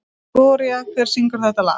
Gloría, hver syngur þetta lag?